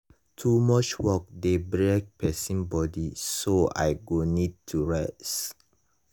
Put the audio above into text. too much work dey break pesin body so i go need to rest.